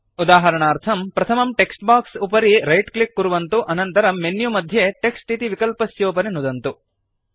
उदाहरणार्थम् प्रथमं text box उपरि रैट् क्लिक् कुर्वन्तु अनन्तरं मेन्यु मध्ये टेक्स्ट् इति विकल्पस्योपरि नुदन्तु